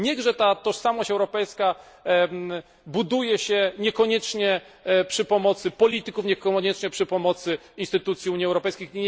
Niechże ta tożsamość europejska buduje się niekoniecznie przy pomocy polityków, niekoniecznie przy pomocy instytucji Unii Europejskiej.